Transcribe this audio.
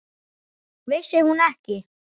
Vissi hún ekki?